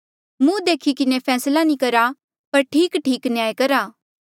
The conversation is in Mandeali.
मुहं देखी किन्हें फैसला नी करा पर ठीकठीक न्याय करा